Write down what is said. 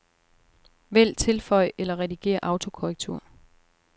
Vælg tilføj eller redigér autokorrektur.